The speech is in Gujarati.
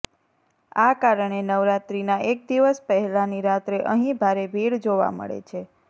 આ કારણે નવરાત્રીનાં એક દિવસ પહેલાની રાત્રે અહીં ભારે ભીડ જોવા મળે છે